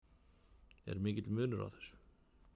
Er mikill munur á þessu?